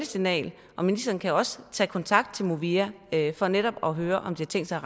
signal og ministeren kan også tage kontakt til movia for netop at høre om de tænkt sig